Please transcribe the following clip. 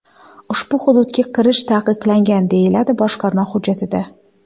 Ushbu hududga kirish taqiqlangan”, deyiladi boshqarma hujjatida.